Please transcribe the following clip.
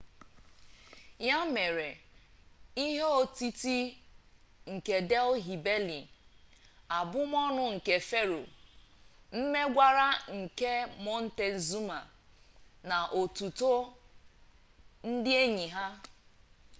ya mere ihe otiti nke delhi belly abụmọọnụ nke fero mmegwara nke montezuma na ọtụtụ ndị enyi ha